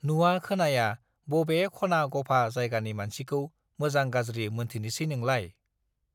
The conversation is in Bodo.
नुवा खोनाया बबे खना-गफा जायगानि मानसिखौ मोजां-गाज्रि मोनथिनोसै नोंलाय?